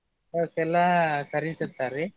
ಅವಕೆಲ್ಲ ಎಲ್ಲಾ ಕರಿತಿರ್ತಾರಿ.